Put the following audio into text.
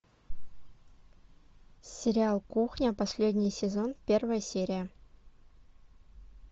сериал кухня последний сезон первая серия